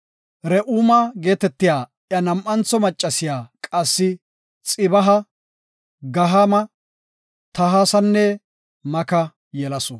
Re7uma geetetiya iya nam7antho maccasiya qassi Xeba, Gahaama, Tahasanne Maka yelasu.